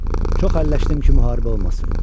Çox əlləşdim ki, müharibə olmasın.